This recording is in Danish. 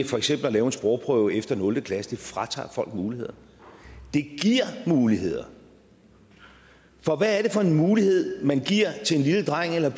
for eksempel at lave en sprogprøve efter nul klasse fratager folk muligheder det giver muligheder for hvad er det for en mulighed man giver til en lille dreng eller